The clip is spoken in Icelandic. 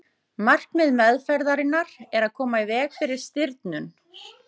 markmið meðferðarinnar er að koma í veg fyrir stirðnun